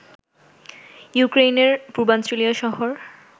ইউক্রেইনের পূর্বাঞ্চলীয় শহর